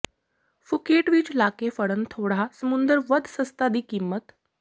Phuket ਵਿੱਚ ਲਾਕੇ ਫੜਨ ਥੋੜ੍ਹਾ ਸਮੁੰਦਰ ਵੱਧ ਸਸਤਾ ਦੀ ਕੀਮਤ